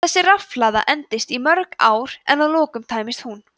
þessi rafhlaða endist í mörg ár en að lokum tæmist hún